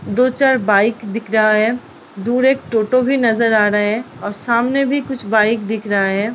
दो चार बाइक दिख रहा हैं दूर एक टोटो भी नजर आ रहे हैं और सामने भी कुछ बाइक दिख रहा हैं।